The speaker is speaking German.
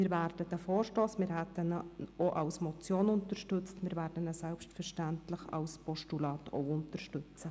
Wir hätten den Vorstoss als Motion unterstützt und werden ihn selbstverständlich auch als Postulat unterstützen.